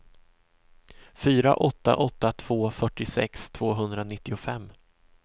fyra åtta åtta två fyrtiosex tvåhundranittiofem